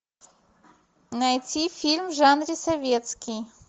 найти фильм в жанре советский